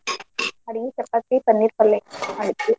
ಅಡ್ಗಿ ಚಪಾತಿ ಪನ್ನೀರ್ ಪಲ್ಲೆ .